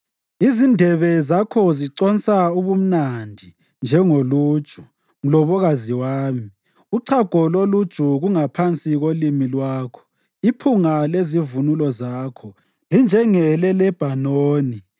Izindebe zakho ziconsa ubumnandi njengoluju, mlobokazi wami; uchago loluju kungaphansi kolimi lwakho. Iphunga lezivunulo zakho linjengeleLebhanoni.